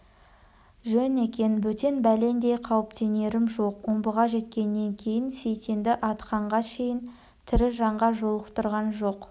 жөн екен бөтен бәлендей қауіптенерім жоқ омбыға жеткеннен кейін сейтенді атқанға шейін тірі жанға жолықтырған жоқ